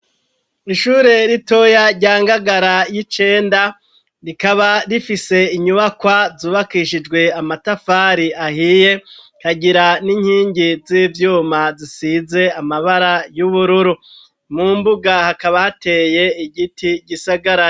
Ishure ritoya rya Ngagara y'icenda, rikaba rifise inyubakwa zubakishijwe amatafari ahiye, rikagira n'inkingi z'ivyuma zisize amabara y'ubururu. Mu mbuga hakaba hateye igiti gisagaraye.